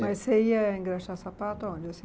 Mas você ia engraxar sapato aonde?